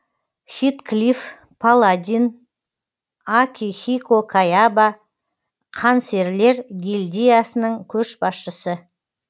хитклиф паладин акихико каяба қан серілер гильдиясының көшбасшысы